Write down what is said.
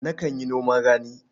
Nakan yi noman rani.